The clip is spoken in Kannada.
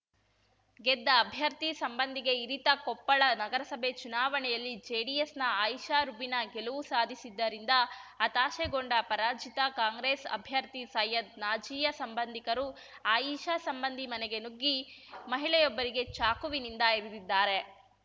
ಗೆದ್ದ ಅಭ್ಯರ್ಥಿ ಸಂಬಂಧಿಗೆ ಇರಿತ ಕೊಪ್ಪಳ ನಗರಸಭೆ ಚುನಾವಣೆಯಲ್ಲಿ ಜೆಡಿಎಸ್‌ನ ಆಯಿಷಾ ರುಬಿನಾ ಗೆಲುವು ಸಾಧಿಸಿದ್ದರಿಂದ ಹತಾಶೆಗೊಂಡ ಪರಾಜಿತ ಕಾಂಗ್ರೆಸ್‌ ಅಭ್ಯರ್ಥಿ ಸೈಯದ್‌ ನಾಜಿಯಾ ಸಂಬಂಧಿಕರು ಆಯಿಷಾ ಸಂಬಂಧಿ ಮನೆಗೆ ನುಗ್ಗಿ ಮಹಿಳೆಯೊಬ್ಬರಿಗೆ ಚಾಕುವಿನಿಂದ ಇರಿದಿದ್ದಾರೆ